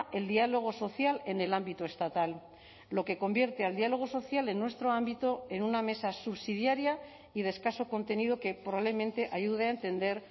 el diálogo social en el ámbito estatal lo que convierte al diálogo social en nuestro ámbito en una mesa subsidiaria y de escaso contenido que probablemente ayude a entender